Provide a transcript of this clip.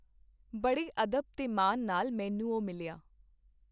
ਬੜੇ ਅਦਬ ਤੇ ਮਾਨ ਨਾਲ ਮੈਨੂੰ ਉਹ ਮਿਲਿਆ.